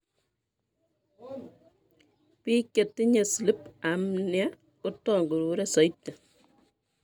Biik chetinye sleep apnea kotongurure soiti